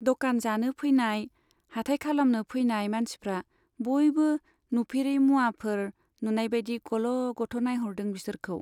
द'कान जानो फैनाय, हाटाय खालामनो फैनाय मानसिफ्रा बयबो नुफेरै मुवाफोर नुनाय बाइदि गल' गथ' नाइह'रदों बिसोरखौ।